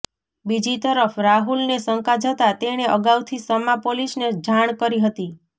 બીજી તરફ રાહુલને શંકા જતાં તેણે અગાઉથી સમા પોલીસને જાણ કરી હતી